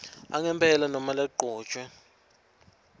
angempela nobe lagcotjwe